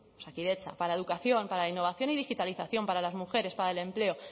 osakidetza para educación para la innovación y digitalización para las mujeres para el empleo